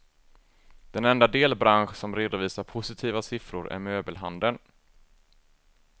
Den enda delbransch som redovisar positiva siffror är möbelhandeln.